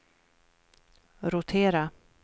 rotera